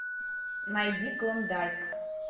найди клондайк